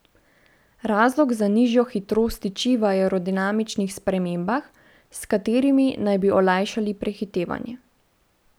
Razlog za nižjo hitrost tiči v aerodinamičnih spremembah, s katerimi naj bi olajšali prehitevanje.